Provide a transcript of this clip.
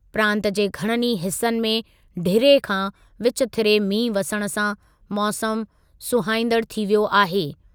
प्रांतु जे घणनि ई हिसनि में ढिरे खां विचथिरे मींहुं वसण सां मौसमु सुहाईंदड़ु थी वियो आहे।